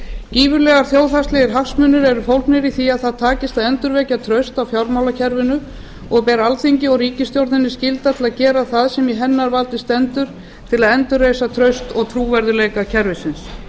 gífurlega þjóðhagslegir hagsmunir eru fólgnir í því að það takist að endurvekja traust á fjármálakerfinu og ber alþingi og ríkisstjórninni skylda til að gera það sem í hennar valdi stendur til að endurreisa traust og trúverðugleika kerfisins